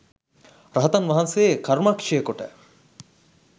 රහතන් වහන්සේ කර්මක්‍ෂය කොට